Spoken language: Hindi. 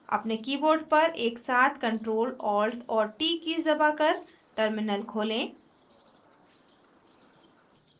अपने keyboard पर एकसाथ ctrl + alt और t कीज़ दबाकर terminal खोलें